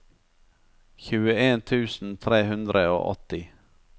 tjueen tusen tre hundre og åtti